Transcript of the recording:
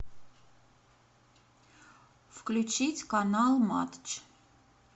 включить канал матч